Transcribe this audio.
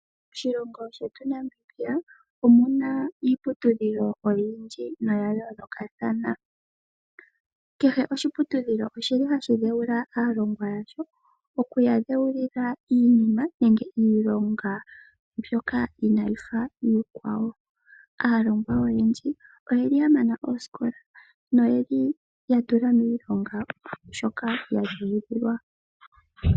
Moshilongo shetu Namibia omu na iiputudhilo oyindji noya yoolokathana. Kehe oshiputudhilo ohashi dheula aalongwa yasho, okuya dheulila iilonga mbyoka inaayi fa iikwawo. Aalongwa oyendji oya mana oosikola noya tula miilonga shoka ya dheulilwa.